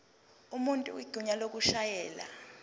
umuntu igunya lokushayela